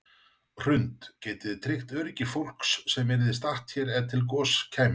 Hrund: Getið þið tryggt öryggi fólks sem yrði statt hér ef að til goss kæmi?